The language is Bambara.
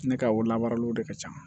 Ne ka o lamaraliw de ka ca